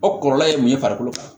O kɔlɔlɔ ye mun ye farikolo kan